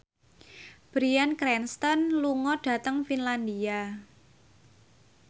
Bryan Cranston lunga dhateng Finlandia